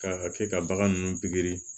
K'a kɛ ka bagan nunnu pikiri